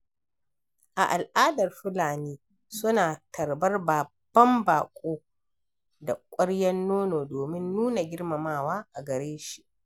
A al'adar Fulani suna tarbar babban baƙo da ƙwarya nono domin nuna girmamawa a gare shi.